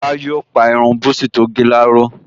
Lára yóò pa irun búsí tó gẹ̀ láró